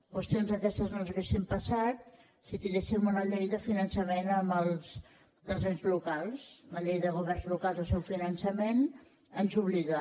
qüestions d’aquestes no ens haurien passat si tinguéssim una llei de finan·çament dels ens locals la llei de governs locals i el seu finançament ens obliga